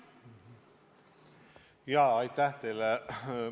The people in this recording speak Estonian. Jaa, aitäh teile!